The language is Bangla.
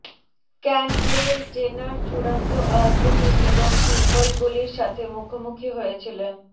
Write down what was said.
ক্যান্ডলেল জেনার চূড়ান্ত আকৃতির এবং পিম্পলগুলির সাথে মুখোমুখি হয়েছিলেন